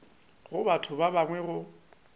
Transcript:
ga batho ba bangwe go